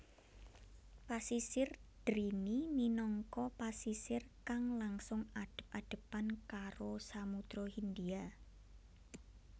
Pasisir drini minangka pasisir kang langsung adep adepan karo Samudra Hindia